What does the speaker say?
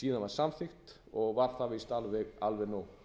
síðan var samþykkt og var það víst alveg nóg